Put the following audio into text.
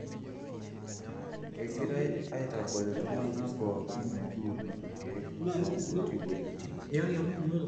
kengirae aitagol iltungnaa pooki metuuno ilkeek tonkuti weujitin.